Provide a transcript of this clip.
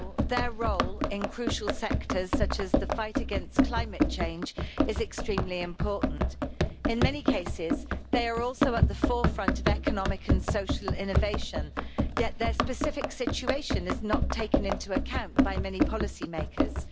Their role in crucial sectors, such as the fight against climate change, is extremely important. In many cases they are also at the forefront of economic and social innovation, yet their specific situation is not taken into account by many policy makers.